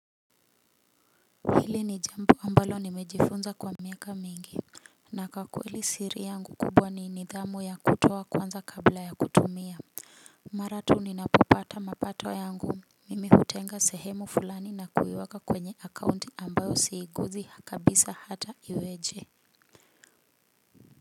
Hili ni jambo ambalo nimejifunza kwa miaka mingi na kwakweli siri yangu kubwa ni nidhamu ya kutoa kwanza kabla ya kutumia. Maratu ni napopata mapato yangu, mimi hutenga sehemu fulani na kuiweka kwenye akaunti ambayo siiguzi hakabisa hata iweje.